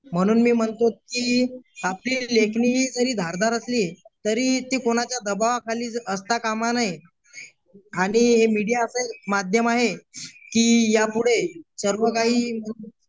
म्हणून मी म्हणतो की आपली लेखनी ही जरी धारदार असली तरी ती कोणाच्या दबावाखाली असता कामा नये आणि हे मीडिया असे माध्यम आहे की या पुढे सर्व काही